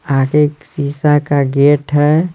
आगे एक शीशा का गेट है।